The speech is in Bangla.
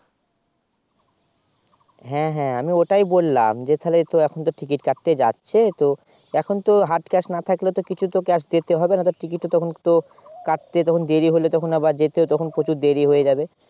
হ্যাঁ হ্যাঁ আমি ওটাই বললাম যে তাহলে তো এখন তো Ticket কাটতে যাচ্ছে এখন তো Hard Cash না থাকলে তো কিছু তো Cash দিতেই হবে না হলে Ticket টা তখন তো তোর কাটতে তখন দেরি হলে তখন আবার যেতে তখন প্রচুর দেরি হয়ে যাবে